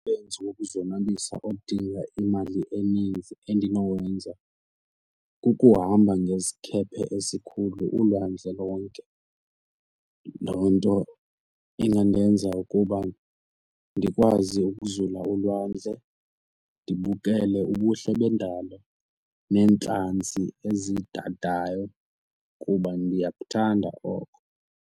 Umsebenzi wokuzonwabisa odinga imali eninzi endinowenza kukuhamba ngesikhephe esikhulu ulwandle lonke. Loo nto ingandenza ukuba ndikwazi ukuzula ulwandle ndibukele ubuhle bendalo neentlanzi ezintantayo kuba ndiyakuthanda oko.